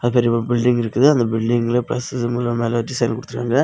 அது ஒரு பில்டிங் இருக்குது அந்த பில்டிங்ல பிளஸ் சிம்புல்லா மேல டிசைன் குடுத்திருக்காங்க.